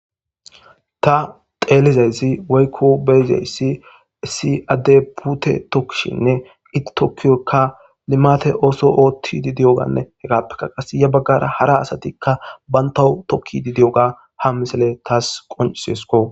Ta telizayissi woykko be'izayssi issi addeyi putte tokishshenne etokkiyoka limatte Otto ottidi diyoga heggappekka ya baggara hara asatikka bantaw tokkidi diyogga ha misdiley tasi qoncciseskko.